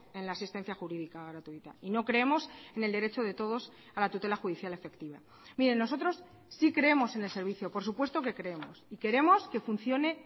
en la asistencia jurídica gratuita y no creemos en el derecho de todos a la tutela judicial efectiva mire nosotros sí creemos en el servicio por supuesto que creemos y queremos que funcione